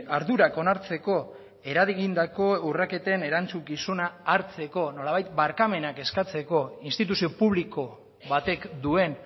ardurak onartzeko eragindako urraketen erantzukizuna hartzeko nolabait barkamenak eskatzeko instituzio publiko batek duen